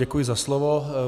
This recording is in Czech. Děkuji za slovo.